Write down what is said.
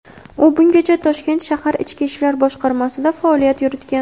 U bungacha Toshkent shahar ichki ishlar boshqarmasida faoliyat yuritgan.